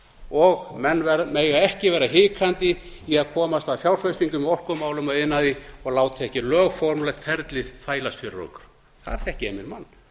og menn mega ekki vera hikandi í að komast að fjárfestingum í orkumálum og iðnaði og láta ekki lögformlegt ferlið þvælast fyrir okkur þar þekki ég minn mann þar